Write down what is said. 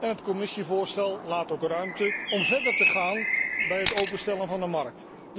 het Commissievoorstel laat ook ruimte om verder te gaan bij het openstellen van de markt.